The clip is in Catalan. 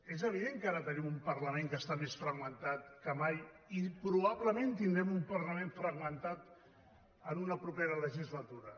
és evident que ara tenim un parlament que està més fragmentat que mai i probablement tindrem un parlament fragmentat en una propera legislatura